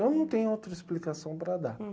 Eu não tenho outra explicação para dar.